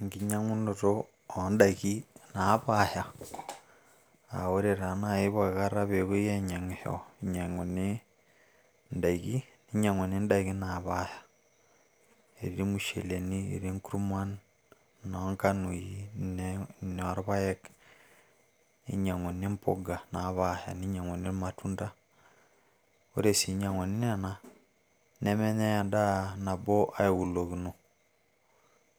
Enkinyiang`unoto oo n`daikin naapaasha aa ore taa naaji poki kata pee epuoi aijiang`isho inyiang`uni in`daikin, ninyiang`uni n`daikin naapaasha. Etii irmusheleni, etii nkurman , etii nkanoi noo irpaek, ninyiang`uni mpuka napaasha ninyiang`uni irmatunda. Ore sii inyiang`uni nena nemenyai en`daa nabo aiulokino